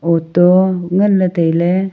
auto nganley tailey .